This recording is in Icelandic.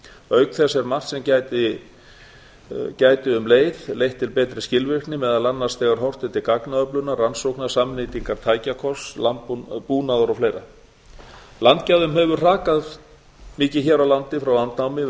auk þess er margt sem gæti um leið leitt til betri skilvirkni meðal annars þegar horft er til gagnaöflunar rannsókna samnýtingar tækjakosts búnaðar og fleiri landgæðum hefur hrakað mikið hér á landi frá landnámi